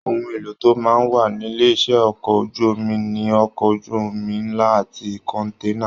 Ohùn èlò tó máa n wà nílé iṣẹ ọkọ̀ ojú omi ní okọ̀ ojú omi nlá àti kọ̀nténà.